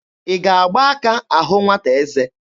Ị ga-agba aka ahụ nwata eze?